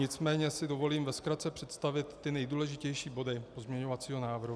Nicméně si dovolím ve zkratce představit ty nejdůležitější body pozměňovacího návrhu.